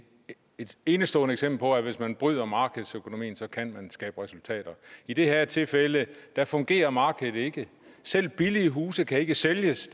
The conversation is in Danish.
et enestående eksempel på at hvis man bryder markedsøkonomien kan man skabe resultater i det her tilfælde fungerer markedet ikke selv billige huse kan ikke sælges